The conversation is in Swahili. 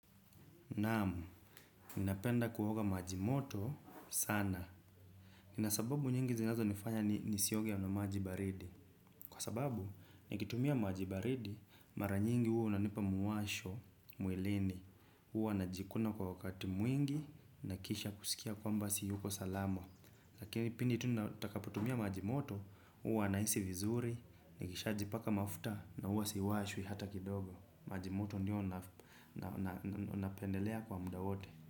Naam, ninapenda kuoga maji moto sana. Nina sababu nyingi zinazonifanya nisioge na maji baridi. Kwa sababu, nikitumia maji baridi, mara nyingi huwa unanipa mwasho, mwilini. Huwa najikuna kwa wakati mwingi, na kisha kusikia kwamba siyuko salama. Lakini pindi tu nitakapotumia maji moto, huwa nahisi vizuri, nikishajipaka mafuta, na huu siwashwi hata kidogo. Maji moto ndio napendelea kwa mda wote.